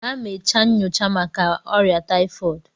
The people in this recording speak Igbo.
Gaa mee nnyocha màkà órià tayifọọdu!